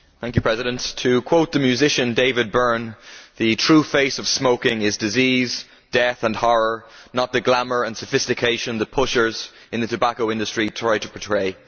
Mr President, to quote the musician David Byrne, the true face of smoking is disease, death and horror, not the glamour and sophistication that pushers in the tobacco industry try to portray.